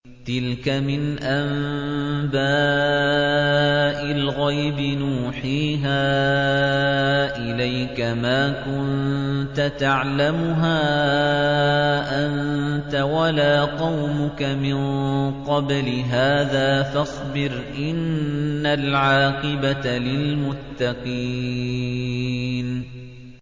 تِلْكَ مِنْ أَنبَاءِ الْغَيْبِ نُوحِيهَا إِلَيْكَ ۖ مَا كُنتَ تَعْلَمُهَا أَنتَ وَلَا قَوْمُكَ مِن قَبْلِ هَٰذَا ۖ فَاصْبِرْ ۖ إِنَّ الْعَاقِبَةَ لِلْمُتَّقِينَ